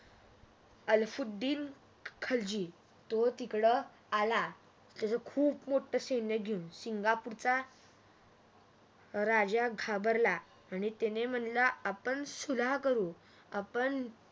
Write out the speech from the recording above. अलाउद्दीन खिलजी तो तिकडं आला त्याच्या खूप मोठं सैन्य घेऊन. सिंगापूरच्या राजा घाबरला अन् त्याने म्हणने आपण सुलहा करू, आपण